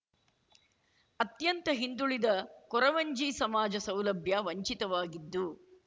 ಅತ್ಯಂತ ಹಿಂದುಳಿದ ಕೊರವಂಜಿ ಸಮಾಜ ಸೌಲಭ್ಯ ವಂಚಿತವಾಗಿದ್ದು